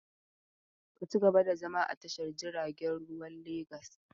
Ka ci gaba da zama a cikin tashar jiaragen ruwan Legas!